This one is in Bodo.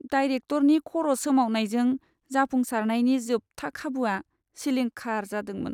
डायरेक्टरनि खर' सोमावनायजों जाफुंसारनायनि जोबथा खाबुआ सिलिंखार जादोंमोन।